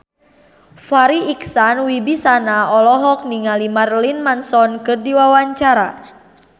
Farri Icksan Wibisana olohok ningali Marilyn Manson keur diwawancara